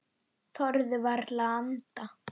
Þorðu varla að anda.